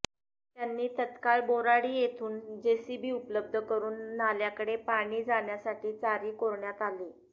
त्यांनी तत्काळ बोराडी येथून जेसीबी उपलब्ध करून नाल्याकडे पाणी जाण्यासाठी चारी कोरण्यात आली